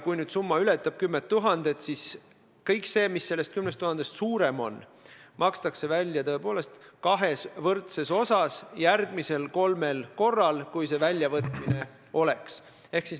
Kui summa ületab 10 000 eurot, siis kõik see, mis 10 000-st üle jääb, makstakse välja kahes võrdses osas järgmisel kolmel korral, kui väljavõtmine võimalik on.